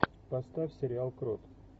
поставь сериал крот